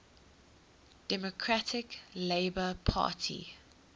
democratic labour party